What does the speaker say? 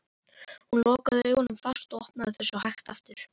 Hún lokaði augunum fast og opnaði þau svo hægt aftur.